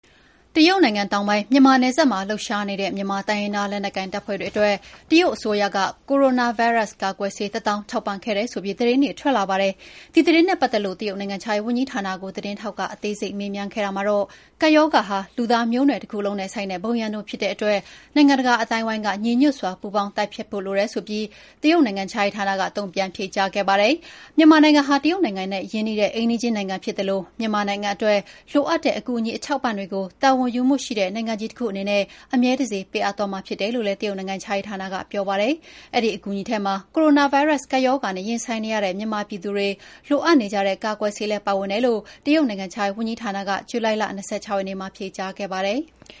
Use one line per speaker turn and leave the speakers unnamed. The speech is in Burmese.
တရုတ်နိုင်ငံတောင်ပိုင်း၊ မြန်မာနယ်စပ်မှာလှုပ်ရှားနေတဲ့ မြန်မာတိုင်းရင်းသားလက်နက်ကိုင်တပ်ဖွဲ့တွေအတွက် တရုတ်အစိုးရက ကိုရိုနာဗိုင်းရပ်စ် ကာကွယ်ဆေး ၁ သောင်းထောက်ပံ့ခဲ့တယ်ဆိုပြီးသတင်းတွေထွက်လာပါတယ်။ ဒီသတင်းနဲ့ပတ်သက်လို့ တရုတ်နိုင်ငံခြားရေးဝန်ကြီးဌာနကို သတင်းထောက်က အသေးစိတ်မေးမြန်းခဲ့တာမှာတော့ ကပ်ရောဂါဟာ လူသားမျိုးနွယ်တခုလုံးနဲ့ဆိုင်တဲ့ ဘုံရန်သူဖြစ်တဲ့အတွက် နိုင်ငံတကာအသိုင်းအဝိုင်း ညီညွှတ်စွာပူးပေါင်းတိုက်ဖျက်ဖို့လိုတယ်ဆိုပြီး တရုတ်နိုင်ငံခြားရေးဌာနက တုန့်ပြန်ဖြေကြားခဲ့ ပါတယ်။မြန်မာနိုင်ငံဟာ တရုတ်နိုင်ငံရဲ့ရင်းနှီးတဲ့ အိမ်နီးချင်းနိုင်ငံဖြစ်သလို မြန်မာနိုင်ငံအတွက် လိုအပ်နေတဲ့ အကူအညီအထောက်အပံ့တွေကို တာဝန်ယူမှုရှိတဲ့ နိုင်ငံကြီးတခုအနေနဲ့ အမြဲတစေ ပေးအပ်သွားမှာဖြစ်တယ်လို့လည်း တရုတ်နိုင်ငံခြားရေးဌာကနပြောပါတယ်။ အဲဒီအကူအညီထဲမှာ ကိုရိုနာဗိုင်းရပ်ကပ်ရောဂါနဲ့ ရင်ဆိုင်နေရတဲ့ မြန်မာပြည်သူတွေလိုအပ်နေတဲ့ ကာကွယ်ဆေးလည်းပါဝင်တယ်လို့ တရုတ်နိုင်ငံခြာရေးဝန်ကြီးဌာနကေ ဂျုလိုင်လ ၂၆ ရက်နေ့မှာ ဖ
ြေကြားခဲ့ပါတယ်။